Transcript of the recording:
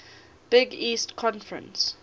big east conference